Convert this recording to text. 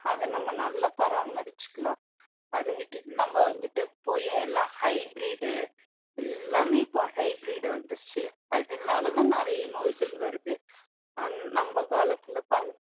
அதை நம்ம நல்லா பராமரிச்சுக்கலாம் அதை விட்டுட்டு நம்ம வந்துட்டு போயி எல்லாம் hybrid எல்லாமே இப்ப hybrid வந்துருச்சு அதனாலதான் நிறைய நோய்கள் வருது அஹ் நம்ம காலத்துல